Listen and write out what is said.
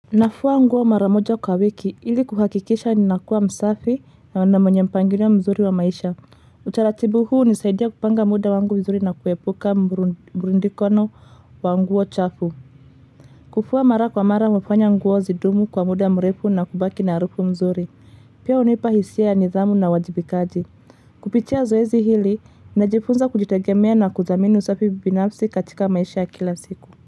Nafua nguo mara moja kwa wiki ili kuhakikisha ninakuwa msafi na mwenye mpangilio mzuri wa maisha utaratibu huu hunisaidia kupanga muda wangu vizuri na kuepuka mrundikano wa nguo chafu kufua mara kwa mara hufanya nguo zidumu kwa muda mrefu na kubaki na harufu nzuri Pia hunipa hisia ya nidhamu na uwajibikaji kupitia zoezi hili najifunza kujitegemea na kuthamini usafi binafsi katika maisha kila siku.